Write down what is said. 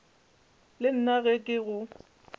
le nna ge ke go